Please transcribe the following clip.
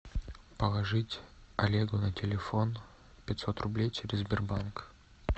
положить олегу на телефон пятьсот рублей через сбербанк